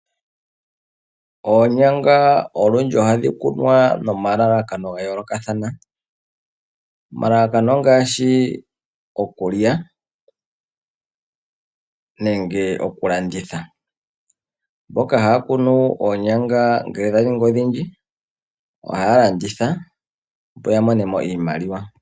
Oonyanga olundji ohadhi kunwa noma lalakano ga yoolokathana. Omalalakano ongaashi okulya, nenge okulanditha. Mboka haya kunu oonyanga ngele dha ningi odhindji, ohaya landitha opo ya monemo iimaliwa.